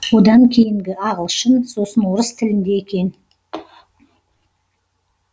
одан кейінгі ағылшын сосын орыс тілінде екен